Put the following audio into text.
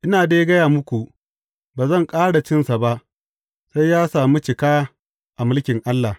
Ina dai gaya muku, ba zan ƙara cinsa ba, sai ya sami cika a mulkin Allah.